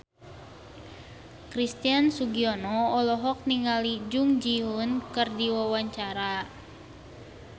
Christian Sugiono olohok ningali Jung Ji Hoon keur diwawancara